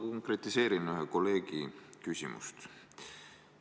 Ma konkretiseerin ühe kolleegi küsimust.